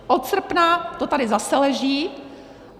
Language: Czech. Od srpna to tady zase leží.